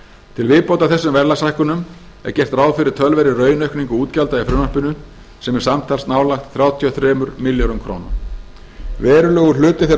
til viðbótar þessum verðlagshækkunum er gert ráð fyrir töluverðri raunaukningu útgjalda í frumvarpinu sem er samtals nálægt þrjátíu og þremur milljörðum króna verulegur hluti þeirra